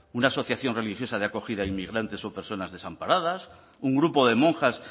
una asociación religiosa de acogida a inmigrantes o personas desamparadas un grupo de monjas